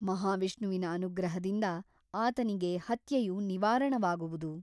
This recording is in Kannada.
ಮಹಾವಿಷ್ಣುವಿನ ಅನುಗ್ರಹದಿಂದ ಆತನಿಗೆ ಹತ್ಯೆಯು ನಿವಾರಣವಾಗುವುದು.